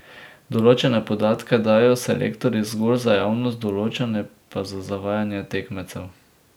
Določene podatke dajo selektorji zgolj za javnost, določene pa za zavajanje tekmecev.